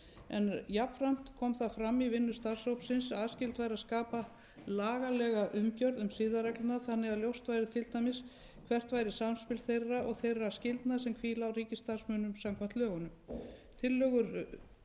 en jafnframt kom það fram í vinnu starfshópsins að skylda væri að skapa lagalega umgjörð um siðareglurnar þannig að ljóst væri til dæmis hvert væri samspil þeirra og þeirra skyldna sem hvíla á ríkisstarfsmönnum samkvæmt lögunum tillögur starfshópsins sem siðareglur voru